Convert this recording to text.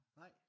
Nej?